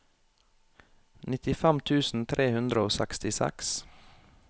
nittifem tusen tre hundre og sekstiseks